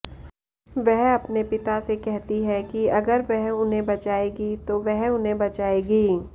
वह अपने पिता से कहती है कि अगर वह उन्हें बचाएगी तो वह उन्हें बचाएगी